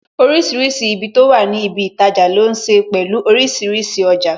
Orísìírísìí ibi tó wà ní ibi itaja, ló ní ṣe pẹ̀lú orísìírísìí ọjà